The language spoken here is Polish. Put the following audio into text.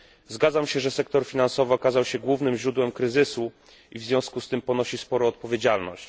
Zgadzam się, że sektor finansowy okazał się głównym źródłem kryzysu, i w związku z tym ponosi sporą odpowiedzialność.